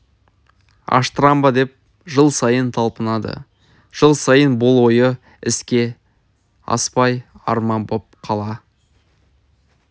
аштырам ба деп жыл сайын талпынады жыл сайын бұл ойы іске аспай арман боп қала